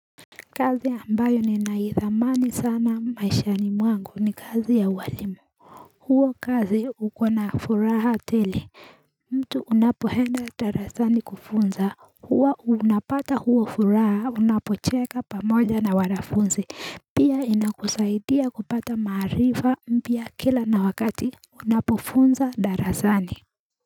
Kazi ambayo ninaithamani sana maishani mwangu ni kazi ya ualimu hiyo kazi hukuwa na furaha tele mtu unapoenda darasani kufunza huwa unapata hiyo furaha unapocheka pamoja na wanafunzi pia inakusaidia kupata maarifa mpya kila na wakati Unapofunza darasani.